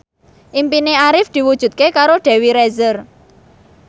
impine Arif diwujudke karo Dewi Rezer